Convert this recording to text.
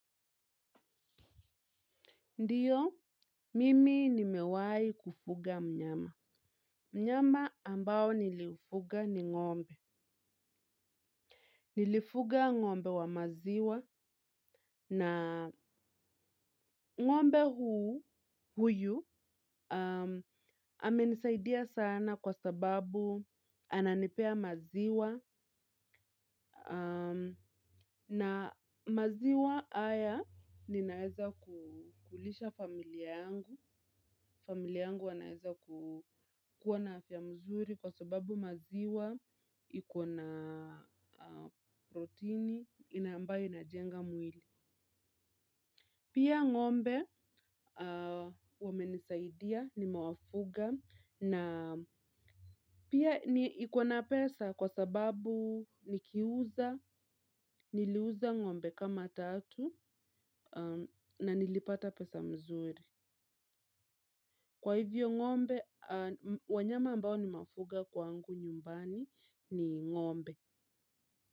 Ndio, mimi nimewahi kufuga mnyama. Mnyama ambao nilifuga ni ng'ombe. Nilifuga ng'ombe wa maziwa na ng'ombe huyu amenisaidia sana kwa sababu ananipea maziwa. Na maziwa haya ninaweza kulisha familia yangu. Familia yangu wanaeza kuwa na afya mzuri kwa sababu maziwa iko na protini ambayo inajenga mwili. Pia ng'ombe wamenisaidia nimewafuga na pia iko na pesa kwa sababu nikiuza niliuza ng'ombe kama tatu. Na nilipata pesa mzuri. Kwa hivyo ng'ombe, wanyama ambao nimewafuga kwangu nyumbani ni ng'ombe.